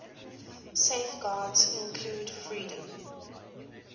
safeguards include freedom